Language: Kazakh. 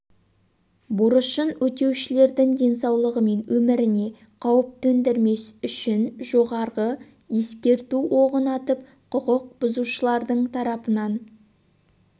борышын өтеушілердің денсаулығы мен өміріне қауіп төндірмес үшін жоғары ескерту оғын атып құқық бұзушылардың тарапынан